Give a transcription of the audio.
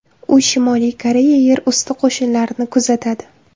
U Shimoliy Koreya yer usti qo‘shinlarini kuzatadi.